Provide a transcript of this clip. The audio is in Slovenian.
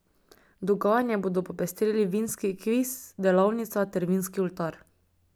Dogajanje bodo popestrili vinski kviz, delavnica ter vinski oltar.